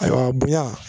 Ayiwa bonya